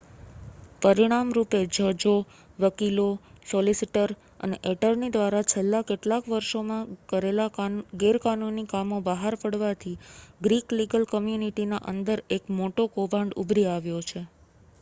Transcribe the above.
પરિણામ રૂપે જજો વકીલો સોલિસિટર અને એટર્ની દ્વારા છેલ્લા કેટલાક વર્ષોમાં કરેલા ગેરકાનૂની કામો બહાર પડવાથી ગ્રીક લીગલ કમ્યુનિટીના અંદર એક મોટો કૌભાંડ ઉભરી આવ્યો છે